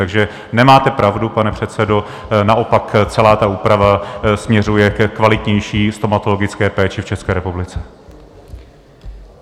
Takže nemáte pravdu, pane předsedo, naopak celá ta úprava směřuje ke kvalitnější stomatologické péči v České republice.